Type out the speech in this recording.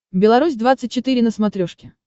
беларусь двадцать четыре на смотрешке